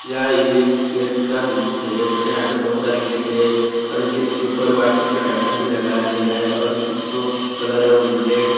यह एक गैस का दृश्य है तथा यहां पे बहुत सारे गैस है और इस गैस के ऊपर वाइट कलर का ढक्कन भी लगाया गया है और इस गैस को कलर है रेड ।